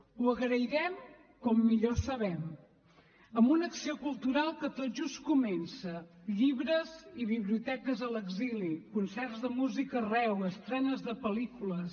ho agrairem com millor sabem amb una acció cultural que tot just comença llibres i biblioteques a l’exili concerts de música arreu estrenes de pel·lícules